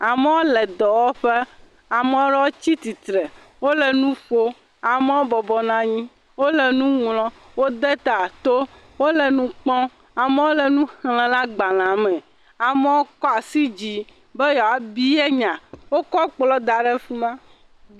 Amewo le dɔwɔƒe, ame aɖewo tsi tsitre, wole nu ƒom. Amewo bɔbɔnɔ anyi. Wole nu ŋlɔm, wode ta to. Wole nu kpɔm. Amewo le nu xlem le agbalea me. Amewo kɔ asi dzi be yewoa bia nya, wokɔ kplɔ da ɖe afi ma.